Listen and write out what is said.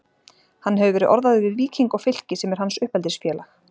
Hann hefur verið orðaður við Víking og Fylki sem er hans uppeldisfélag.